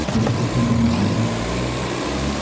чтобы ты с ним познакомилась